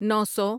نو سو